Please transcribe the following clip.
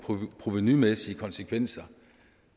provenumæssige konsekvenser